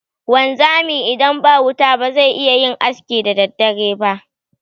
Wanzami idan ba wuta bazai iyayin aski da daddare ba.